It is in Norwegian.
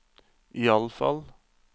iallfall